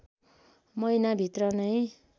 महिना भित्रै नै